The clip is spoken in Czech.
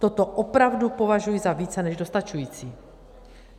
Toto opravdu považuji za více než dostačující.